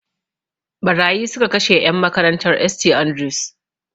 Ɓarayi su ka kashe en makarantan St Andrews